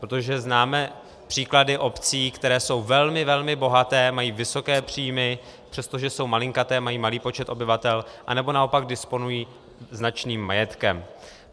Protože známe příklady obcí, které jsou velmi, velmi bohaté, mají vysoké příjmy, přestože jsou malinkaté, mají malý počet obyvatel, anebo naopak disponují značným majetkem.